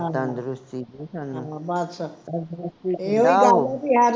ਤੰਦਰੁਸਤੀ ਦੇ ਸਾਨੂ